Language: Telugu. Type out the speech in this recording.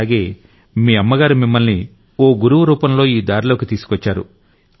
అలాగే మీ అమ్మగారు మిమ్మల్ని ఓ గురువు రూపంలో ఈ దారిలోకి తీసుకొచ్చారు